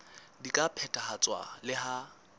di ka phethahatswa le ha